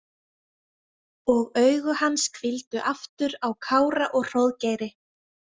Og augu hans hvíldu aftur á Kára og Hróðgeiri.